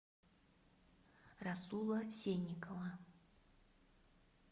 расула сенникова